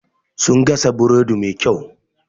Sun gasa burodi mai kyau.